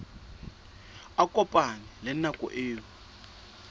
a kopane le nako eo